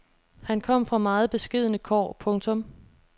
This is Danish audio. Han kom fra meget beskedne kår. punktum